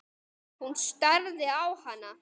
Hún starði á hana.